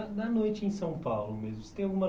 da da noite em São Paulo mesmo, você tem alguma